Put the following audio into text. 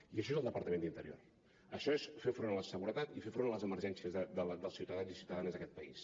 i això és el departament d’interior això és fer front a la seguretat i fer front a les emergències dels ciutadans i ciutadanes d’aquest país